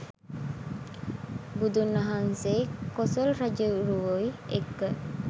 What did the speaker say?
බුදුන් වහන්සෙයි කොසොල් රජ්ජුරුවොයි එක්ක